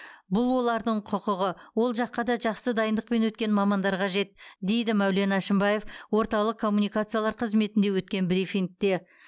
бұл олардың құқығы ол жаққа да жақсы дайындықпен өткен мамандар қажет дейді мәулен әшімбаев орталық коммуникациялар қызметінде өткен брифингте